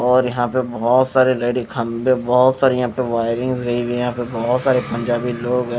और यहां पे बहोत सारी लाइट के खंभे बहोत सारी यहां पे वायरिंग होई हुई हैं यहां पे बहोत सारे पंजाबी लोग हैं।